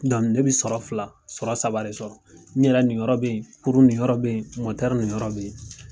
ne bi sɔrɔ fila sɔrɔ saba de sɔrɔ ne yɛrɛ niyɔrɔ bɛ yen kurun niyɔrɔ bɛ yen ni yɔrɔ bɛ yen.